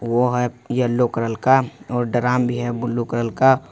वह है yellow colour का और ड्राम भी है ब्लू कलर का।